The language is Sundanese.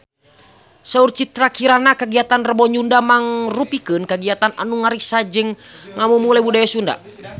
Saur Citra Kirana kagiatan Rebo Nyunda mangrupikeun kagiatan anu ngariksa jeung ngamumule budaya Sunda